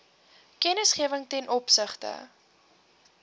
kennisgewing ten opsigte